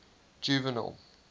juvenal